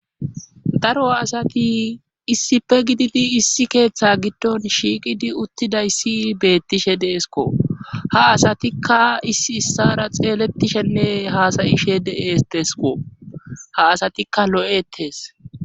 daro asati issife gididi issi keeththa giddon shiiqidi uttidayssi beettishe deesko ha asatikka issi issara xeelettishenne hasayishe dees teesko ha asatikka lo7etees